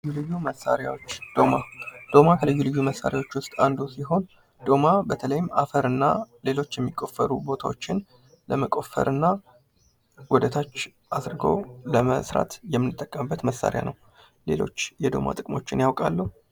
ልዩ ልዩ መሳሪያዎች ዶማ ዶማ ከልዩ ልዩ መሳሪያዎች ዉስጥ አንዱ ሲሆን ሶማ በተለይም አፈር እና ሌሎች የሚቆፈሩ ቦታዎችን ለመቆፈር እና ወደታች አድርጎ ለመስራት የምንጠቀምበት መሳሪያ ነው። ሌሎች የዶማ ጥቅሞችን ያውቃሉ?